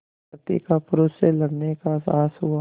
प्रकृति का पुरुष से लड़ने का साहस हुआ